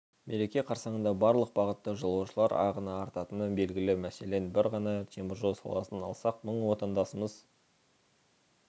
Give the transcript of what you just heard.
мереке қарсаңында барлық бағытта жолаушылар ағыны артатыны белгілі мәселен бір ғана теміржол саласын алсақ мың отандасымыз